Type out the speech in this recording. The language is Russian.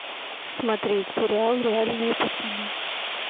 смотреть сериал реальные пацаны